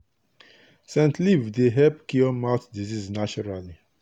scent leaf dey help cure mouth disease naturally.